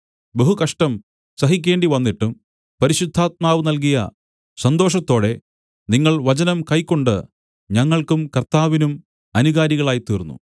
ബഹുകഷ്ടം സഹിക്കേണ്ടിവന്നിട്ടും പരിശുദ്ധാത്മാവ് നല്കിയ സന്തോഷത്തോടെ നിങ്ങൾ വചനം കൈക്കൊണ്ട് ഞങ്ങൾക്കും കർത്താവിനും അനുകാരികളായിത്തീർന്നു